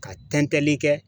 Ka tɛntɛnli kɛ